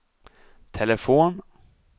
telefon